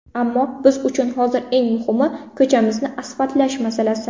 Ammo biz uchun hozir eng muhimi, ko‘chamizni asfaltlash masalasi.